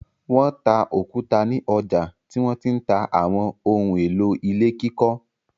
Wọ́n ta òkúta ní ọjà tí wọ́n ti ń ta àwọn ohun-èlò ilé kíkọ́.